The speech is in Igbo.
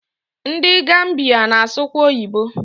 Ndị Gambiya na-asụkwa oyibo